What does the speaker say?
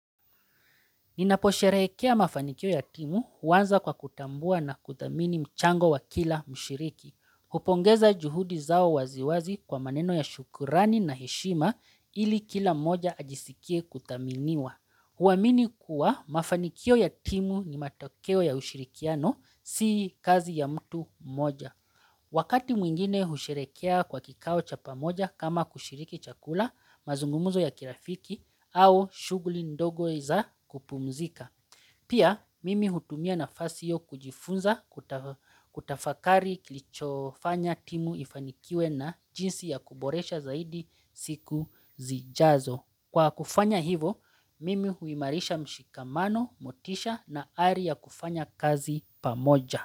Ninaposherehekea mafanikio ya timu huanza kwa kutambua na kudhamini mchango wa kila mshiriki. Hupongeza juhudi zao waziwazi kwa maneno ya shukurani na heshima ili kila moja ajisikie kudhaminiwa. Huamini kuwa mafanikio ya timu ni matokeo ya ushirikiano sii kazi ya mtu mmoja. Wakati mwingine husherehekea kwa kikao cha pamoja kama kushiriki chakula, mazungumuzo ya kirafiki au shughuli ndogo za kupumzika. Pia mimi hutumia nafasi yo kujifunza kuta kutafakari kilichofanya timu ifanikiwe na jinsi ya kuboresha zaidi siku zijazo. Kwa kufanya hivo, mimi huimarisha mshikamano, motisha na ari ya kufanya kazi pamoja.